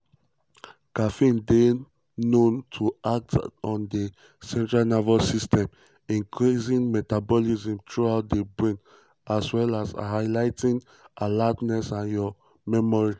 caffeine dey known to act on di central nervous system increasing metabolism throughout di brain as well as heigh ten ing alertness and your um memory.